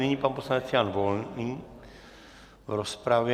Nyní pan poslanec Jan Volný v rozpravě.